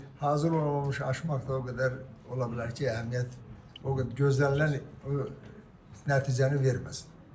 İndi hazır olmamış açmaq da o qədər ola bilər ki, əhəmiyyət o qədər gözlənilən o nəticəni verməsin.